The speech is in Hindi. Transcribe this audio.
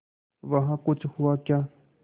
वहाँ कुछ हुआ क्या